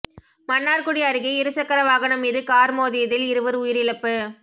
மன்னார்குடி அருகே இருசக்கர வாகனம் மீது கார் மோதியில் இருவர் உயிரிழப்பு